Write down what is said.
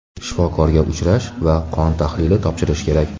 Shifokorga uchrash va qon tahlili topshirish kerak.